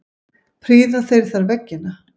Prýða þeir þar veggina.